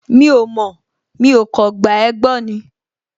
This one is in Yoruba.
Mi ò mọ̀, mi ò kàn gba ẹ́ gbọ́ ni